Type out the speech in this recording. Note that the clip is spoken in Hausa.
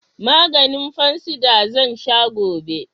Maganin fansida zan sha gobe